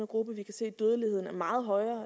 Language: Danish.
gruppe vi kan se at dødeligheden er meget højere